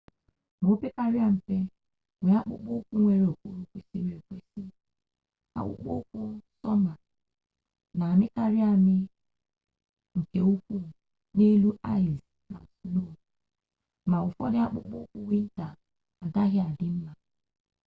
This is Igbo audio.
ma ọ pekarịa mpe nwee akpụkpọ ụkwụ nwere okpuru kwesịrị ekwesị akpụkpọ ụkwụ sọma na-amịkarị amị nke ukwuu n'elu aịs na sno ma ụfọdụ akpụkpọ ụkwụ wịnta agaghị adị mma